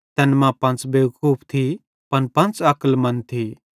तैन मां पंच़ बेवकूफ थी पन पंच़ अक्लमन्द थी